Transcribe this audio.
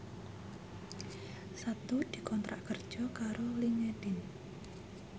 Setu dikontrak kerja karo Linkedin